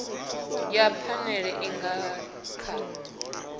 ya phanele i nga kha